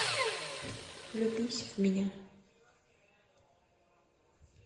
влюбись в меня